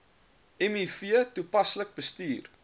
miv toepaslik bestuur